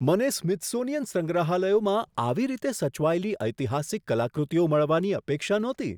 મને સ્મિથસોનિયન સંગ્રહાલયોમાં આવી રીતે સચવાયેલી ઐતિહાસિક કલાકૃતિઓ મળવાની અપેક્ષા નહોતી.